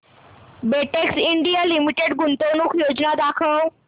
Betex India limited गुंतवणूक योजना दाखव